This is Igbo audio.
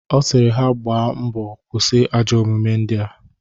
Ọ sịrị ha gbaa mbo kwụsị ajọ omume ndịa